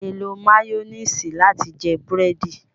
A le lò mayonnaise lati jẹ burẹdi